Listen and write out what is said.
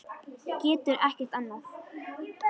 Getur ekkert annað.